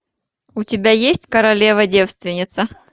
у тебя есть королева девственница